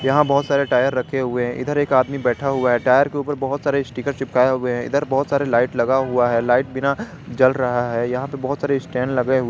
यहां बहोत सारे टायर रखे हुए हैं इधर एक आदमी बैठा हुआ है टायर के ऊपर बहोत सारे स्टीकर चिपकाए हुए है इधर बहोत सारे लाइट लगा हुआ है लाइट बिना जल रहा है यहां पे बहोत सारे स्टैंड लगे हुए--